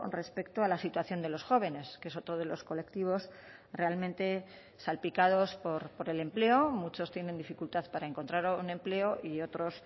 respecto a la situación de los jóvenes que es otro de los colectivos realmente salpicados por el empleo muchos tienen dificultad para encontrar un empleo y otros